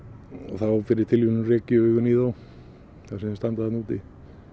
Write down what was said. þá fyrir tilviljun rek ég augun í þá þar sem þeir standa þarna úti